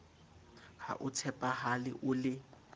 ha o tshepahale o le